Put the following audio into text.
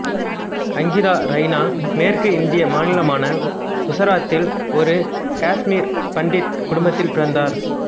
அங்கிதா ரெய்னா மேற்கு இந்திய மாநிலமான குசராத்தில் ஒரு காசுமீர் பண்டிட் குடும்பத்தில் பிறந்தார்